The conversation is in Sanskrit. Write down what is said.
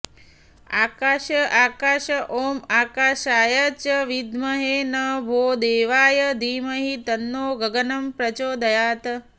आकाश आकाश ॐ आकाशाय च विद्महे नभोदेवाय धीमहि तन्नो गगनं प्रचोदयात्